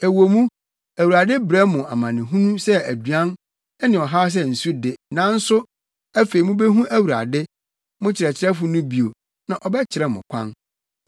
Ɛwɔ mu, Awurade brɛ mo amanehunu sɛ aduan ne ɔhaw sɛ nsu de, nanso, afei mubehu Awurade, mo kyerɛkyerɛfo no bio, na ɔbɛkyerɛ mo kwan.